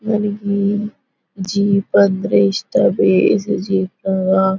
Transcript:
ನನಿಗೆ ಜೀಪ್ ಅಂದ್ರೆ ಇಷ್ಟ ಬೀಜ್ ಜೀಪ್ ಅಲ್ಲಾ .-->